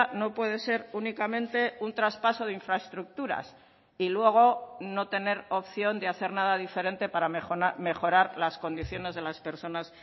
no puede ser únicamente un traspaso de infraestructuras y luego no tener opción de hacer nada diferente para mejorar las condiciones de las personas